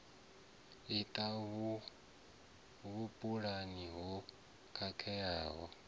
i ṱana vhupulani ho khakheaho